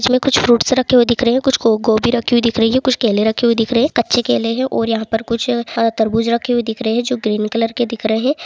इसमें कुछ फ्रूट्स रखे हुए दिख रहे हैं कुछ गो गोभी रखी हुई दिख रही है कुछ केले रखे हुए दिख रहे है कच्चे केले हैं और यहाँ पर कुछ तरबूज रखे हुए दिख रहे है जो ग्रीन कलर के दिख रहे है।